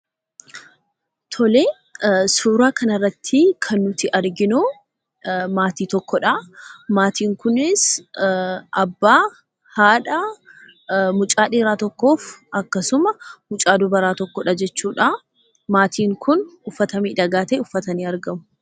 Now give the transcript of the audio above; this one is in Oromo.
Suuraa kanarratti kan nuti arginu maatii tokkodhaa. Maatiin kunis abbaa, haadha, mucaa dhiiraa tokkoof akkasumas mucaa dubaraa tokkodha jechuudhaa. Maatiin kun uffata miidhagaa ta'e uffatanii argamu.